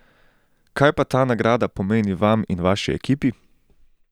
Kaj pa ta nagrada pomeni vam in vaši ekipi?